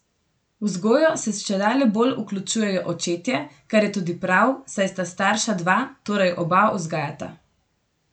V vzgojo se čedalje bolj vključujejo očetje, kar je tudi prav, saj sta starša dva, torej oba vzgajata.